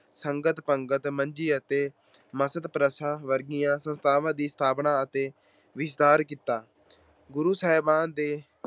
ਸੰਗਤ-ਪੰਗਤ, ਮੰਜੀ ਅਤੇ ਮਸਦ ਪ੍ਰਥਾ ਵਰਗੀਆਂ ਸੰਸਥਾਵਾਂ ਦੀ ਸਥਾਪਨਾ ਅਤੇ ਵਿਸਥਾਰ ਕੀਤਾ। ਗੁਰੂ ਸਾਹਿਬਾਨ ਦੇ